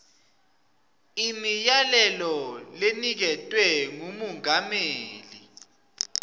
imiyalelo leniketwe ngumengameli